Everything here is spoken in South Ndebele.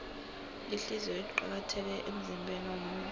ihliziyo iqakathekile emzimbeniwomuntu